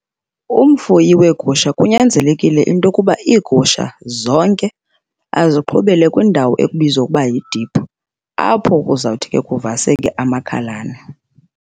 Umfuyi weegusha kunyanzelekile into yokuba iigusha zonke aziqhubele kwindawo ekubizwa ukuba yidiphu, apho kuzawuthi ke kuvaseke amakhalane.